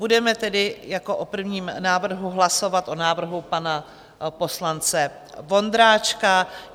Budeme tedy jako o prvním návrhu hlasovat o návrhu pana poslance Vondráčka.